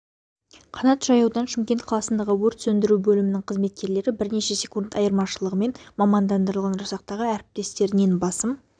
қанат жаюдан шымкент қаласындағы өрт сөндіру бөлімінің қызметкерлері бірнеше секунд айырмашылығымен мамандандырылған жасақтағы әріптестерінен басым